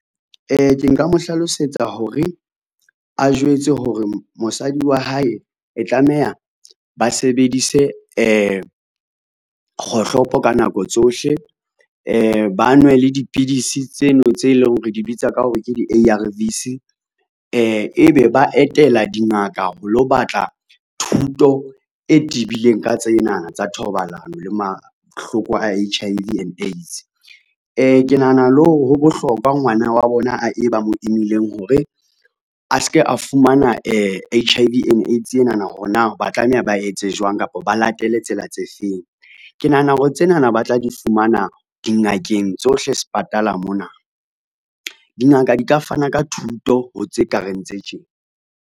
Ke nka mo hlalosetsa hore, a jwetse hore mosadi wa hae e tlameha ba sebedise kgohlopo ka nako tsohle , ba nwe le dipidisi tseno tse leng hore di bitsa ka hore ke di-A_R_V's, ebe ba etela dingaka ho lo batla thuto e tibileng ka tsena tsa thobalano le mahloko a H_I_V and AIDS. Ke nahana le hore ho bohlokwa ngwana wa bona e ba mo imileng hore, a ske a fumana H_I_V and AIDS enana hore na ba tlameha ba etse jwang kapa ba latele tsela tse feng. Ke nahana hore tsena na ba tla di fumana dingakeng tsohle sepatala mona, dingaka di ka fana ka thuto ho tse kareng tse tjena.